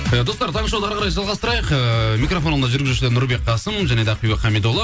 ы достар тағы шоуды әрі қарай жалғастырайық ыыы микрофонда жүргізушілер нұрбек қасым және де ақбибі хамидолла